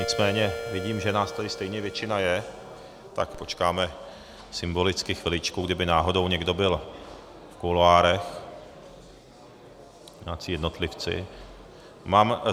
Nicméně vidím, že nás tady stejně většina je, tak počkáme symbolicky chviličku, kdyby náhodou někdo byl v kuloárech, nějací jednotlivci.